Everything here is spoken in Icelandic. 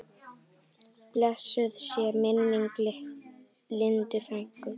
Blessuð sé minning Lindu frænku.